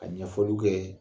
Ka ɲɛfɔliw kɛ